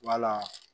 Wala